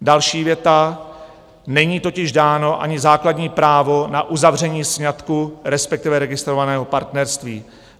Další věta: "Není totiž dáno ani základní právo na uzavření sňatku, respektive registrovaného partnerství.